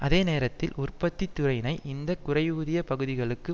அதே நேரத்தில் உற்பத்தி துறையினை இந்த குறைவூதிய பகுதிகளுக்கு